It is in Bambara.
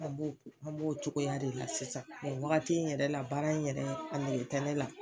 An b'o cogoya de la sisan, o wagati in yɛrɛ la baara in yɛrɛ,a nege tɛ ne la.